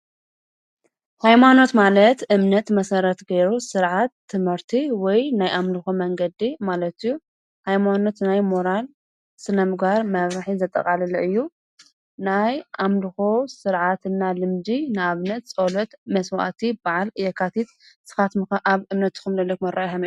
ሃይማኖት ማለት እምነት መሰረት ገይሩ ስርዓት ትምህርቲ ወይ ናይ ኣምልኾ መንገዲ ማለት እዩ። ሃይማኖት ናይ ሞራል ስነ ምግባር መምርሒ ዘጠቓለለ እዩ። ናይ ኣምልኾ ስርዓትና ልምዲ ንኣብነት ፀሎት፣ መስዋእቲ ፣በዓል የካትት። ንስኻትኩምከ ኣብ እምነትኩም ዘለኩም ኣረኣእያ ከመይ እዩ?